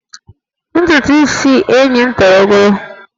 Ntutu isi enyi m toro ogologo